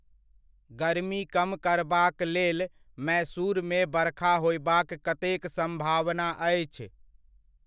गरमी कम करबाकलेल मैसूरमे बरखा होयबाक कतेक सम्भावना आछि?